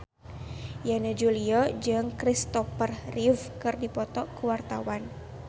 Yana Julio jeung Christopher Reeve keur dipoto ku wartawan